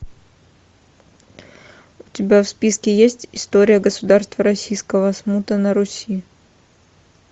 у тебя в списке есть история государства российского смута на руси